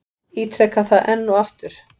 Ítreka það enn og aftur.